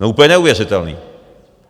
No úplně neuvěřitelné!